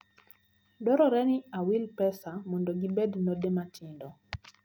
Dwarore ni awil pesga mondo gibed node matindo.